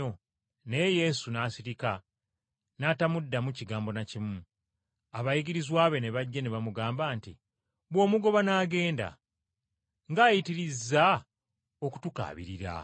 Naye Yesu n’asirika n’atamuddamu kigambo na kimu. Abayigirizwa be ne bajja ne bamugamba nti, “Bw’omugoba n’agenda. Ng’ayitirizza okutukaabirira.”